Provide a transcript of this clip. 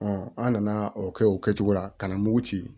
an nana o kɛ o kɛcogo la ka na mugu ci